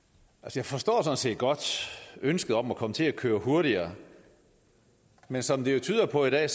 jeg forstår sådan set godt ønsket om at kunne komme til at køre hurtigere men som det jo tyder på i dag